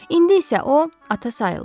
İndi isə o ata sayılmır.